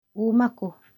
ũũma kũ